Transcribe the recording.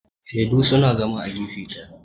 shaidu suna zama a gefe daya